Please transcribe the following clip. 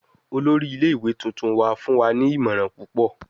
Olori ile-iwe tuntun wa fun wa ni imọran pupọ